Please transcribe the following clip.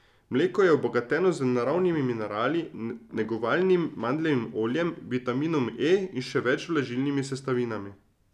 Mleko je obogateno z naravnimi minerali, negovalnim mandljevim oljem, vitaminom E in še več vlažilnimi sestavinami.